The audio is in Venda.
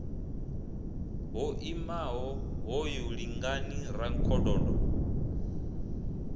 ho imaho hoyu lingani rankhododo